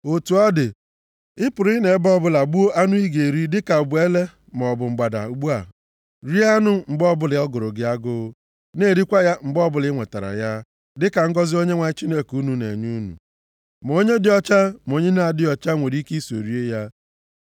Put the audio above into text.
Otu ọ dị, ị pụrụ ịnọ nʼebe ọbụla gbuo anụ ị ga-eri, dịka ọ bụ ele maọbụ mgbada ugbu a. Rie anụ mgbe ọbụla ọ gụrụ gị agụụ, na-erikwa ya mgbe ọbụla i nwetara ya, dịka ngọzị Onyenwe anyị Chineke unu na-enye unu. Ma onye dị ọcha, ma onye na-adịghị ọcha nwere ike iso rie ya.